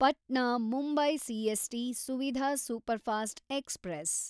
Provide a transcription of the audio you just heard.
Patna Mumbai CST Suvidha superfast express